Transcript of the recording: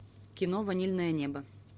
кино ванильное небо